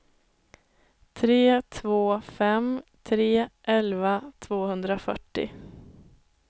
tre två fem tre elva tvåhundrafyrtio